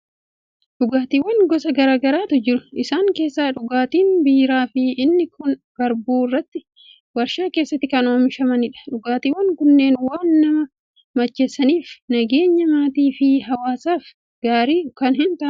Dhugaatiiwwan gosa garaa garaatu jiru. Isaan keessaa dhugaatiin biiraa fi inni kun garbuu irraatii waarshaa keessatti kan oomishamanidha. Dhugaatiiwwan kunneen waan nama macheessaniif, nageenya maatii fi hawwaasaaf gaarii kan hin taanedha.